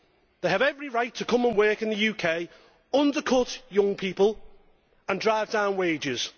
They have every right to come and work in the UK, to undercut young people and drive down wages.